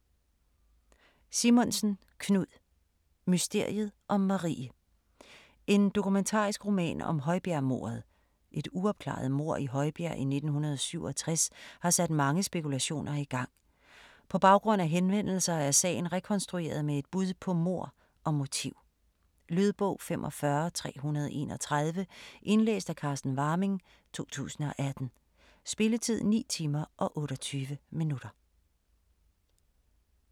Simonsen, Knud: Mysteriet om Marie En dokumentarisk roman om højbjergmordet. Et uopklaret mord i Højbjerg i 1967 har sat mange spekulationer i gang. På baggrund af henvendelser er sagen rekonstrueret med et bud på mord og motiv. Lydbog 45331 Indlæst af Carsten Warming, 2018. Spilletid: 9 timer, 28 minutter.